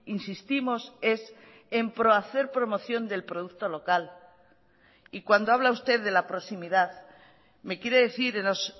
insistimos es en hacer promoción del producto local y cuando habla usted de la proximidad me quiere decir en los